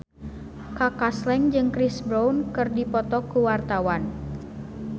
Kaka Slank jeung Chris Brown keur dipoto ku wartawan